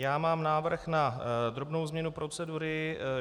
Já mám návrh na drobnou změnu procedury.